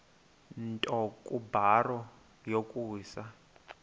nto kubarrow yokusa